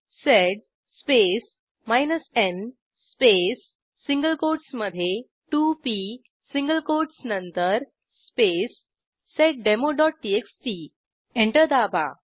sed space n space single कोटसमधे 2पी single quotes नंतर स्पेस seddemoटीएक्सटी एंटर दाबा